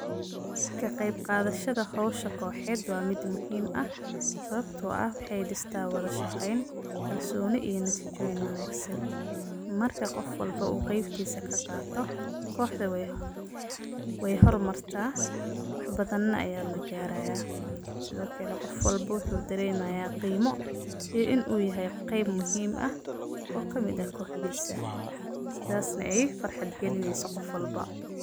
Sawabto ah wexey dista wadashaqeyn kalsoni iyo natijo wanagsan marka uu qof wlbo uu qeybtisa kaqato koxda wey hormarta wax badan aya lagaraya sido kale qof walbo wuxu daremaya qimo iyo inu yahay qeyb muhiim eh ee kamid ah koxdosa sidasna ey farxad galineyso qof walbo.